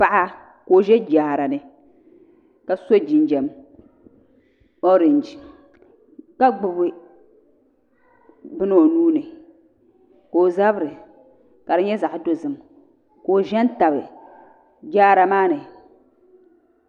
Paɣa ka o ʒɛ jaarani ka so jinam orinji ka gbubi bini o nuuni ka o zabiri ka di nya zaɣ' dozim ka o ʒɛ.tabi jaara maani